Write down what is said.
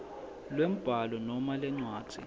lwembhalo noma lencwadzi